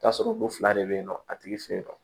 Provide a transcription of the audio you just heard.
T'a sɔrɔ ko fila de be yen nɔ a tigi fɛ yen nɔ